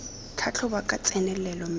tlhatlhoba ka tsenelelo mme a